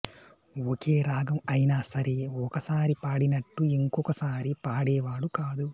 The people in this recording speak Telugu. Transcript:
ఒకే రాగం అయినా సరే ఒకసారి పాడినట్టు యింకొకసారి పాడేవాడు కాదు